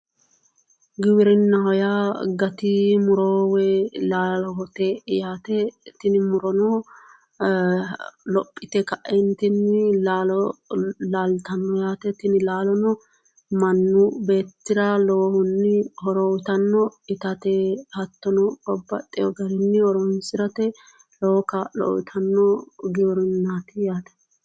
Giwirinnaho yaa gati muro woyi laalote yaate tini murono lophite kaentinni laalo laalittano yaate, tini laalono manchi beettira lowohuni horo uyittano, itate hattono babbaxino garini horonsirate lowo kaa'lo uyittano giwirinnati yaate.